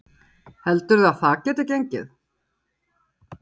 Lillý: Heldurðu að það geti gengið?